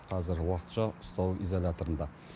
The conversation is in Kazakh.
қазір уақытша ұстау изоляторында